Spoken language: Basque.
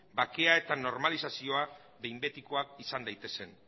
bakea eta normalizazioa behin betikoak izan daitezen